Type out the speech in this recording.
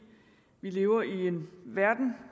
vi lever i en verden